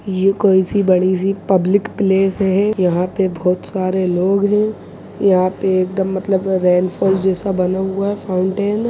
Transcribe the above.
ये कोई सी बड़ी सी पब्लिक प्लेस है यहाँ पे बहुत सारे लोग हैं यहाँ पे एकदम मतलब रेनफॉल जैसा बना हुआ है फाउंटेन --